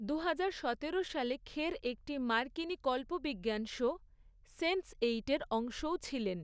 দুহাজার সতেরো সালে খের একটি মার্কিনী কল্পবিজ্ঞান শো সেন্সএইট এর অংশও ছিলেন।